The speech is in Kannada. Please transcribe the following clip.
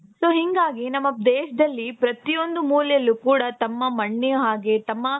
So ಹಿಂಗಾಗಿ ನಮ್ಮ ದೇಶದಲ್ಲಿ ಪ್ರತಿಯೊಂದು ಮೂಲೆಯಲ್ಲೂ ಕೂಡ ತಮ್ಮ ಮಣ್ಣ ಹಾಗೆ ತಮ್ಮ